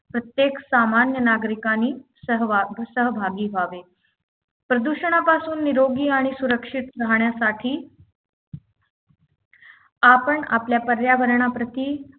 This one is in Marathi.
प्रत्येक सामान्य नागरिकानी सहवा सहभागी व्हावे प्रदूषणापासून निरोगी आणि सुरक्षित राहण्यासाठी आपण आपल्या पर्यावरणाप्रती